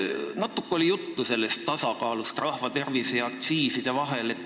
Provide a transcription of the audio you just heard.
Natuke oli täna juttu tasakaalust rahva tervise ja aktsiiside vahel.